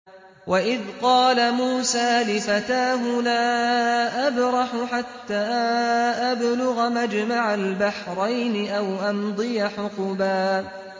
وَإِذْ قَالَ مُوسَىٰ لِفَتَاهُ لَا أَبْرَحُ حَتَّىٰ أَبْلُغَ مَجْمَعَ الْبَحْرَيْنِ أَوْ أَمْضِيَ حُقُبًا